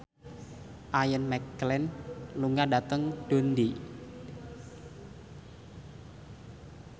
Ian McKellen lunga dhateng Dundee